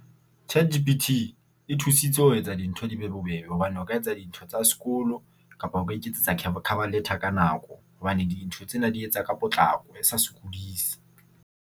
Tjhe, ChatGPT e thusitse ho etsa dintho di be bobebe hobane o ka etsa dintho tsa sekolo kapa o ka iketsetsa cover letter ka nako. Hobane dintho tsena e di etsa ka potlako e sa sokodise.